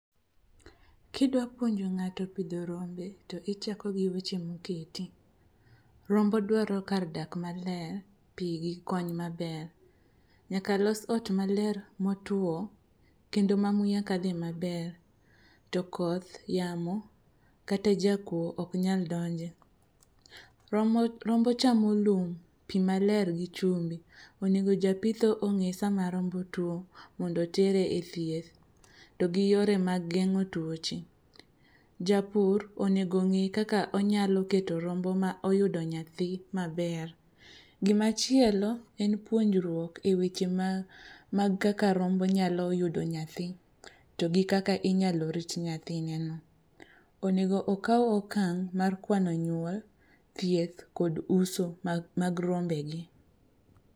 Kidwa puonjo ng'ato pidho rombe to ichako gi weche moketi. Rombo dwaro kar dak maler, pi gi kony maber. Nyaka los ot maler motwo kendo ma muya kadhe maber to koth, yamo kata jakuo oknyal donje. Rombo chamo lum, pi maler gi chumbi. Onego japitho ong'e sama rombo tuo mondo otere e thieth to gi yore mag geng'o tuoche. Japur onego ng'e kaka onyalo keto rombo ma oyudo nyathi maber. Gimachielo en puonjruok e weche mag kaka rombo nyalo yudo nyathi to gi kaka inyalo rit nyathineno. Onego okaw okang' mar kwano nyuol, thieth kod uso mag rombege.